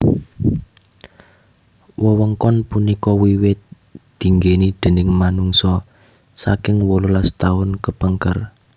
Wewengkon punika wiwit dinggèni déning manungsa saking wolulas taun kepengker